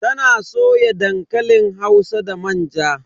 Ta na soya dankalin hausa da manja.